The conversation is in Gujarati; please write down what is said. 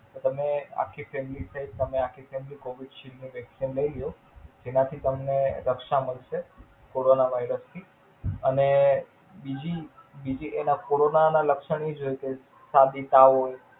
તમે આખી Family થઇ આખી FamilyCovisild vaccine લઇ લ્યો. તેમાંથી તમને રક્ષા મળશે કોરોનના એડઓપથી અને બીજી બીજી એના કોરોનના લક્ષણની જ એક શરદી તાવ હોઈ